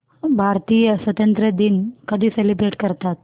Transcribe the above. भारतीय स्वातंत्र्य दिन कधी सेलिब्रेट करतात